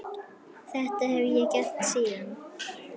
Þetta hef ég gert síðan.